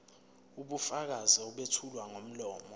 ubufakazi obethulwa ngomlomo